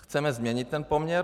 Chceme změnit ten poměr?